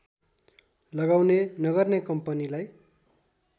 लगाउने नगर्ने कम्पनीलाई